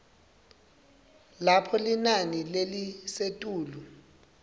lapho linani lelisetulu